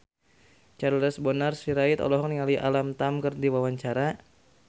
Charles Bonar Sirait olohok ningali Alam Tam keur diwawancara